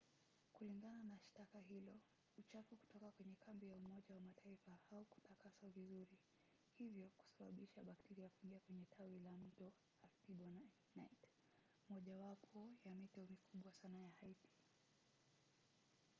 kulingana na shtaka hilo uchafu kutoka kwenye kambi ya umoja wa mataifa haukutakaswa vizuri hivyo kusababisha bakteria kuingia kwenye tawi la mto artibonite mojawapo ya mito mikubwa sana ya haiti